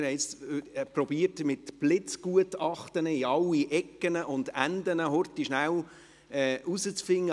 Wir versuchten mit Blitzgutachten in alle Ecken und Enden auf die Schnelle herauszufinden: